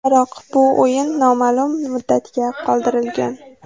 Biroq bu o‘yin noma’lum muddatga qoldirilgan.